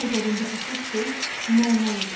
Onun nəzərində əsas şey məna idi.